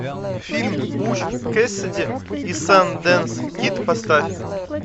фильм буч кэссиди и сандэнс кид поставь